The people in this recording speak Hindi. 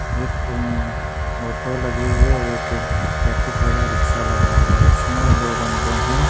एक ओटो लगी हुई है एक बैटिक वाला रिक्शा लगा हुआ है इसमें दो बन्दे है।